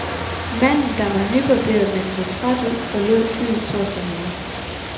Manden, der var nybarberet men så træt ud, forlod flyet torsdag morgen.